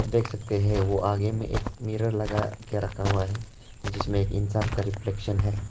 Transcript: देख सकते हैं कि वो आगे में एक मिरर लगा के रखा हुआ है जिसमें एक इंसान का रिफ्लेक्शन है।